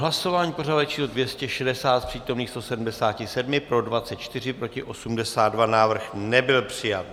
Hlasování pořadové číslo 260, z přítomných 177 pro 24, proti 82, návrh nebyl přijat.